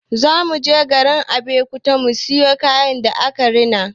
Za mu je garin Abeokuta mu siyo kayan da aka rina.